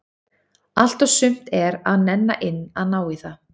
Allt og sumt er að nenna inn að ná í það.